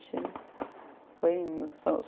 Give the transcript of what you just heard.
Foi indo